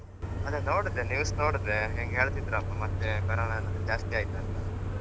ಅದೇ ನೋಡ್ದೆ news ನೋಡ್ದೆ ಹಿಂಗ್ ಹೇಳ್ತಿದ್ರಪ್ಪ ಮತ್ತೆ corona ಎಲ್ಲ ಜಾಸ್ತಿ ಆಯ್ತಂತ.